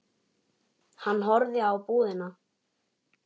Hann horfði á búðina.